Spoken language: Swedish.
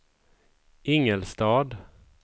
Ingelstad